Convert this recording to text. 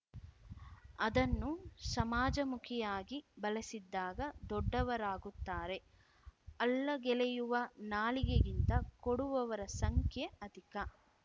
ಅದನ್ನು ಸಮಾಜಮುಖಿಯಾಗಿ ಬಳಸಿದ್ದಾಗ ದೊಡ್ಡವರಾಗುತ್ತಾರೆ ಅಲ್ಲಗೆಳೆಯುವ ನಾಲಿಗೆಗಿಂತ ಕೊಡುವವರ ಸಂಖ್ಯೆ ಅಧಿಕ